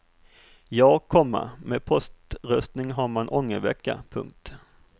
Ja, komma med poströstning har man ångervecka. punkt